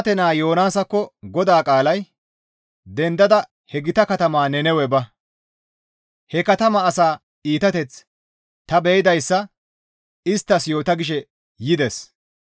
«Dendada he gita katamaa Nannawe ba; he katamaa asaa iitateth ta be7idayssa isttas yoota» gishe yides.